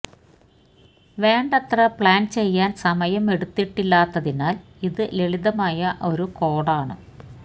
വേണ്ടത്ര പ്ലാൻ ചെയ്യാൻ സമയം എടുത്തിട്ടില്ലാത്തതിനാൽ ഇത് ലളിതമായ ഒരു കോഡാണ്